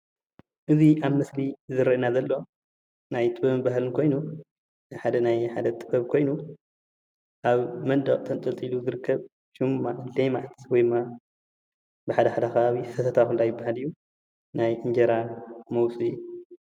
እዚ ኣብ ምስሊ ዝረአየና ዘሎ ናይ ጥበብን ባህልን ኮይኑ ናይ ሓደ ጥበብ ኮይኑ ኣብ መንደቅ ተንጠልጢሉ ዝርከብ ሽሙ ሌማት ወይ ድማ ብሓደሓደ ከባቢታት ሰተታ ይባሃል እዩ ናይ እንጀራ መውፅኢ እዩ፡፡